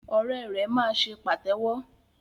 Ọrẹ rẹ máa ṣe pàtéwọ́.